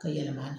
Ka yɛlɛma